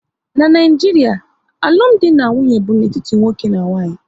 N'Naijiria, alụmdi na nwunye bụ n'etiti nwoke na nwaanyị